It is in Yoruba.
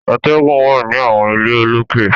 Àtẹ̀gùn wà ní àwọn ilé olókè.